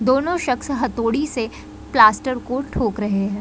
दोनों शख्स हथोड़ी से प्लास्टर को ठोक रहे है।